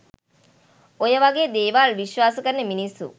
ඔය වගේ දේවල් විශ්වාස කරන මිනිස්සු